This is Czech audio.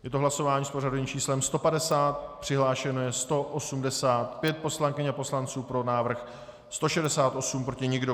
Je to hlasování s pořadovým číslem 150, přihlášeno je 185 poslankyň a poslanců, pro návrh 168, proti nikdo.